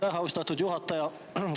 Aitäh, austatud juhataja!